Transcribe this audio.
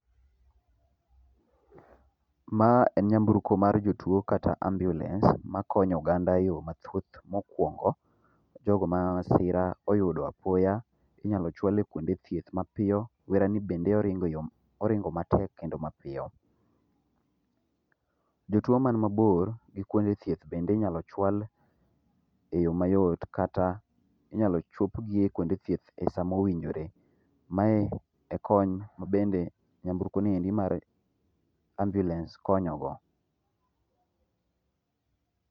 Ma en nyamburko mar jotuo kata ambulance makonyo oganda yoo mathoth. Mokuongo jogo ma masira oyudo apoya inyalo chwal e kuonde thieth mapiyo wera ni bende oringo e yo, oringo matek kendo mapiyo. Jotuo man mabor gi kuonde thieth bende inyalo chwal e yoo mayot kata inyalo chopgi e kuonde thieth e sama owinjore. Mae e kony mabende nyamburko ni mar ambulance[c]s konyo go.